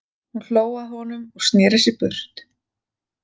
Hún hló að honum og sneri sér burt.